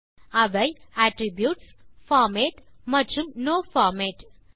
அவை attributesபார்மேட் மற்றும் நோ பார்மேட்